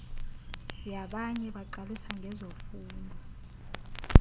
yabanye baqalisa ngezofundo